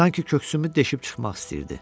Sanki köksümü deşib çıxmaq istəyirdi.